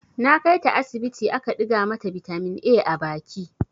Na kai ta asibiti aka ɗiga mata bitamin A a baki.